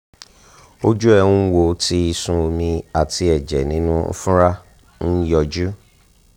ojú ẹ̀ ń wò tí ìsun omi àti ẹ̀jẹ̀ nínú ìfunra ń yọjú